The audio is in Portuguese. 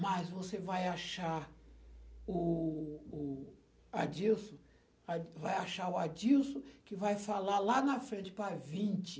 Mas você vai achar o o Adilson, vai achar o Adilson que vai falar lá na frente para vinte.